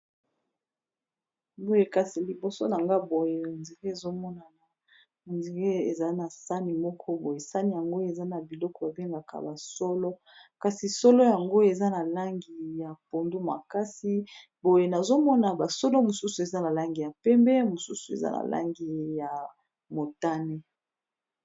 Boye kasi liboso na nga boye on dire ezomonana on dire eza na sahani moko boye sahani yango eza na biloko ba bengaka ba solo kasi solo yango eza na langi ya pondu makasi boye nazomona ba solo mosusu eza na langi ya pembe mosusu eza na langi ya motane.